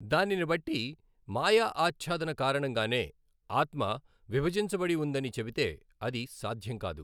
దానినిబట్టి మాయ ఆఛ్ఛాదన కారణంగానే ఆత్మ విభజించబడి వుందని చెబితే అది సాధ్యం కాదు.